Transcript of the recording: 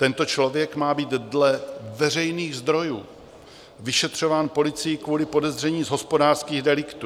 Tento člověk má být dle veřejných zdrojů vyšetřován policií kvůli podezření z hospodářských deliktů.